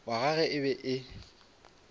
wa gagwe e be e